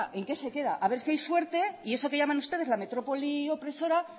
en qué se queda a ver si hay suerte y eso que llaman ustedes la metrópoli opresora